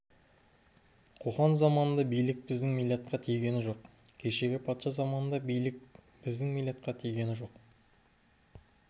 қоқан заманында билік біздің милләтқа тиген жоқ кешегі патша заманында билік біздің милләтқа тиген жоқ